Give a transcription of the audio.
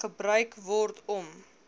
gebruik word om